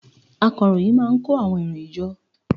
Akọròyìn má a n kó àwọn ìròyìn jọ